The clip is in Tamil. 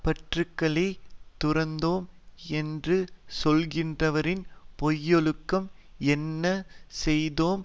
பற்றுக்களைத் துறந்தோம் என்று சொல்கின்றவரின் பொய்யொழுக்கம் என்ன செய்தோம்